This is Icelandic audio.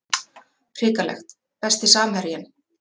hrikalegt Besti samherjinn?